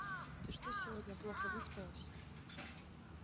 ты что сегодня плохо выспалась